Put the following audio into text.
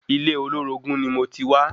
Ilé olorogun ni moti wa